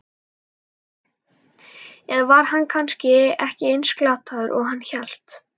Eða var hann kannski ekki eins glataður og hann hélt?